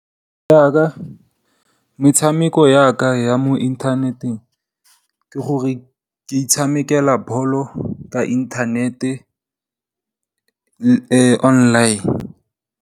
Ya ka metshameko ya mo inthaneteng ke gore, ke itshamekela bolo ya inthanete online.